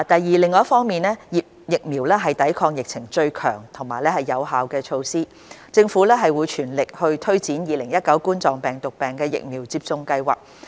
二另一方面，疫苗是抵抗疫情最強而有效的措施，政府正全力推展2019冠狀病毒病疫苗接種計劃。